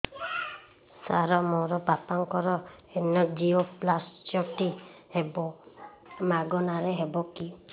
ସାର ମୋର ବାପାଙ୍କର ଏନଜିଓପ୍ଳାସଟି ହେବ ମାଗଣା ରେ ହେବ କି